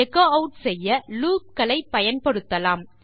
echo add செய்ய loop களை பயன்படுத்தலாம்